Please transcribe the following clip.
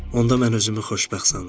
Onda mən özümü xoşbəxt sanıram.